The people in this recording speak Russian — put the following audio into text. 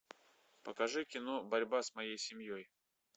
покажи кино борьба с моей семьей